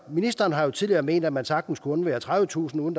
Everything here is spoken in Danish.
ministeren har jo tidligere ment at man sagtens kunne undvære tredivetusind uden